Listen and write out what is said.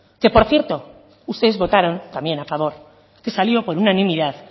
que por cierto ustedes votaron también a favor que salió con unanimidad